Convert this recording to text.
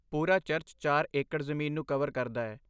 ਪੂਰਾ ਚਰਚ ਚਾਰ ਏਕੜ ਜ਼ਮੀਨ ਨੂੰ ਕਵਰ ਕਰਦਾ ਹੈ।